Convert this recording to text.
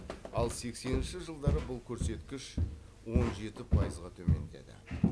ал сексенінші жылдары бұл көрсеткіш он жеті пайызға төмендеді